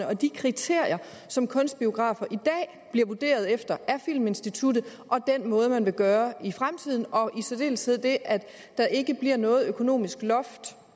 og de kriterier som kunstbiografer i dag bliver vurderet efter af filminstituttet og den måde man vil gøre på i fremtiden og i særdeleshed det at der ikke bliver noget økonomisk loft